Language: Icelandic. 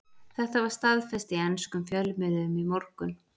Þetta var staðfest í enskum fjölmiðlum í morgun.